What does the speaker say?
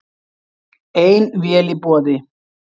Ein vél í boði